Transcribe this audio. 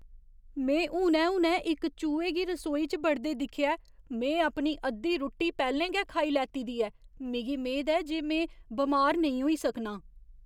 में हुनै हुनै इक चूहे गी रसोई च बड़दे दिक्खेआ ऐ। में अपनी अद्धी रुट्टी पैह्‌लें गै खाई लैती दी ऐ। मिगी मेद ऐ जे में बमार नेईं होई सकनां।